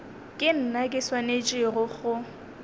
ke nna ke swanetšego go